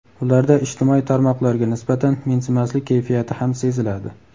Ularda ijtimoiy tarmoqlarga nisbatan mensimaslik kayfiyati ham seziladi.